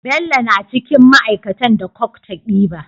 Bello na cikin ma aikatan da coke ta ɗiba